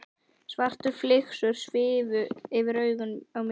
Svartar flygsur svifu fyrir augum mér.